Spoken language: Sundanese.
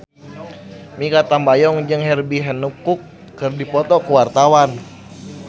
Mikha Tambayong jeung Herbie Hancock keur dipoto ku wartawan